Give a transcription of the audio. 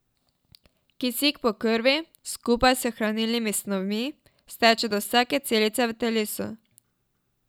Kisik po krvi, skupaj s hranilnimi snovmi, steče do vsake celice v telesu.